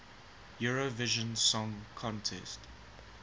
eurovision song contest